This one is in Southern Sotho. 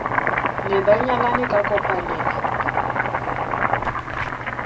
ne ba nyalane ka kopanelo